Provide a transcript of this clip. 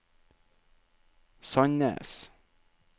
Sandnes